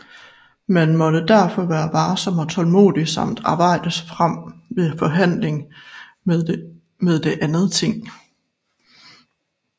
Man måtte derfor være varsom og tålmodig samt arbejde sig frem ved forhandling med det andet ting